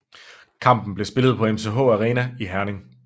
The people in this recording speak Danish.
Kampen blev spillet på MCH Arena i Herning